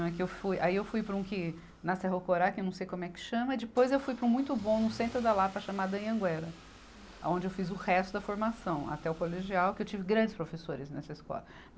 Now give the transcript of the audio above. Né que eu fui. Aí eu fui para um que, na Cerro Corá, que eu não sei como é que chama, depois eu fui para um muito bom, no centro da Lapa, chamado Anhanguera, aonde eu fiz o resto da formação, até o colegial, que eu tive grandes professores nessa escola.